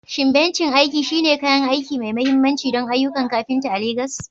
Shin bencin aiki shine kayan aiki mai mahimmanci don ayyukan kafinta a Legas?